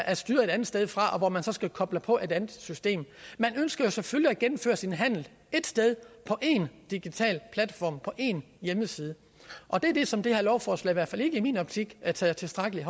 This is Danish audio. er styret et andet sted fra og hvor man så skal koble på et andet system man ønsker selvfølgelig at gennemføre sin handel ét sted på én digital platform på én hjemmeside og det er det som det her lovforslag i hvert fald ikke i min optik har taget tilstrækkelig